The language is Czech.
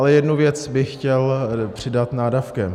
Ale jednu věc bych chtěl přidat nádavkem.